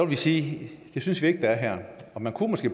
vi sige at det synes vi ikke der er her man kunne måske